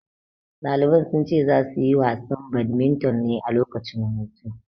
Ɗaliban sun ce za su yi wasan badminton ne a lokacin hutu.